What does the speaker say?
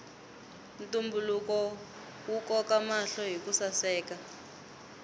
ntumbuluko wu koka mahlo hiku saseka